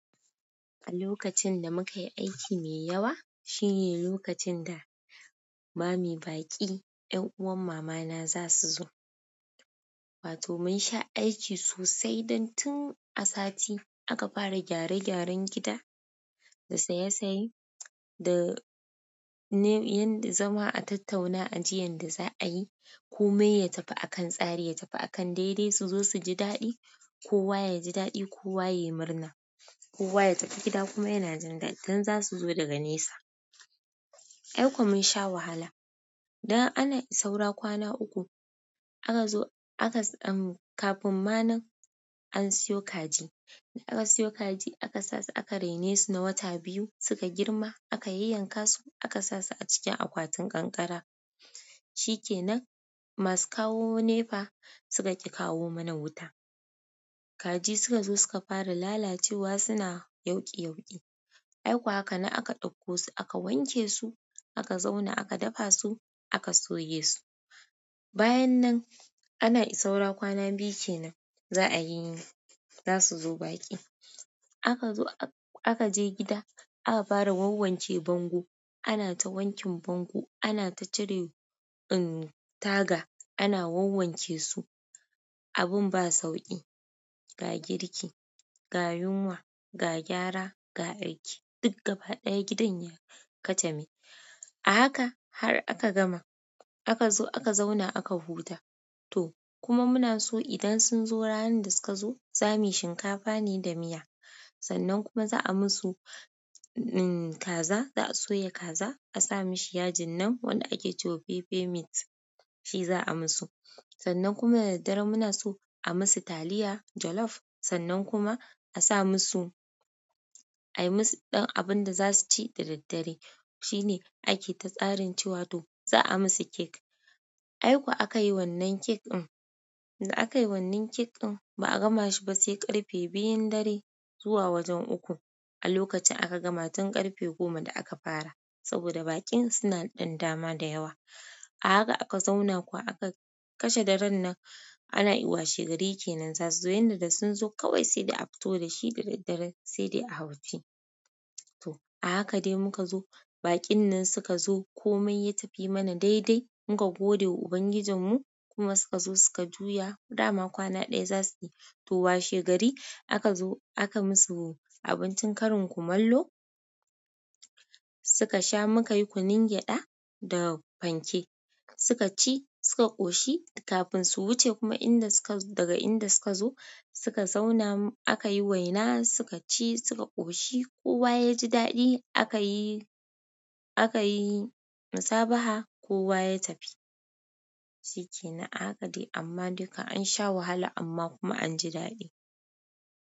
A lokacin da muka yi aiki mai yawa shine lokacin da bami baƙi 'yan uwan mama na za su zo. Wato mun sha aiki sosai, dan tun a sati aka fara gyare gyaren gida, da saye saye da ne yadda zama a tattauna aji yanda za'a yi? Komai ya tafi a kan tsari ya tafi a kan daidai su zo su ji daɗi. Kowa yaji daɗi kowa yayi murna. Kowa ya tafi gida kuma yana jin daɗi dan za su zo daga nesa. Ai ko mun sha wahala. Dan ana i saura kwana uku aka zo aka samu kafin ma nan an siyo kaji. Da aka siyo kaji aka sasu aka rene su na wata biyu suka girma aka yayyankasu aka sasu a cikin akwatin ƙanƙara. Shi kenan masu kawo nefa suka ƙi kawo mana wuta. Kaji suka zo suka fara lalacewa suna yauƙi yauƙi. Ai kuwa haka nam aka ɗaukko su aka wanke su aka zauna aka dafa su aka soya su. Bayan nan ana i saura kwana biyu kenan za'ayi zasu zo baƙi. A ka zo aka je gida aka fara wawanke bango. Ana ta wankin bango ana ta cire in taga ana wawwanke su. Abun ba sauƙi, ga girki, ga yunwa, ga gyara, ga aiki duk gaba ɗaya gidan ya kacame. A haka har aka gama, aka zo aka zauna aka huta. To kuma muna so idan sun zo ranar da suka zo za muyi shinkafa ne da miya, sannan kuma za a musu in kaza za a soya kaza a sa mishi yajin nan wanda ake cewa "pepe meat" shi za a musu. Sannan kuma da daddare muna so a musu taliya jollof sannan kuma a sa musu a yi musu ɗan abun da za su ci da daddare. Shi ne ake ta tsarin cewa to za a musu kek. Ai ko aka yi wannan cake ɗin, da aka yi wannan cake ɗin ba a gama shi ba sai ƙarfe biyun dare zuwa wajen uku. A lokacin aka gama tun ƙarfe goma da aka fara saboda bakin suna ɗan dama da yawa. A haka aka zauna kuwa aka kashe daren nan ana i washe gari kenan za su zo yanda da sun zo kawai sai da a fito da shi da daddare sai dai a hau ci. To a haka dai muka zo baƙin nan suka zo komai ya tafi mana daidai muka gode wa Ubangijinmu kuma suka zo suka juya. Dama kwana ɗaya za su yi, to washe gari aka zo aka musu abincin karin kumallo. Suka sha muka yi kunun gyaɗa da fanke suka ci suka ƙoshi kafin su wuce kuma inda suka daga inda suka zo suka zauna aka yi waina suka ci suka ƙoshi kowa ya ji daɗi aka yi aka yi musabaha kowa ya tafi. Shi ke nan a haka dai amma duka an sha wahala amma kuma an ji daɗi.